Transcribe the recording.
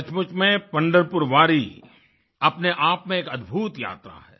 सचमुच में पंढरपुर वारी अपने आप में एक अद्भुत यात्रा है